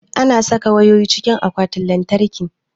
Ana saka wayoyi cikin akwatin lantarki.